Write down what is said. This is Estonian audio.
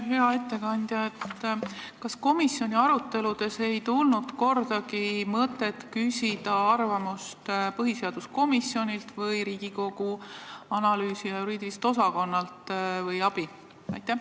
Hea ettekandja, kas komisjoni aruteludes ei tulnud kordagi mõtet küsida arvamust põhiseaduskomisjonilt või abi Riigikogu Kantselei õigus- ja analüüsiosakonnalt?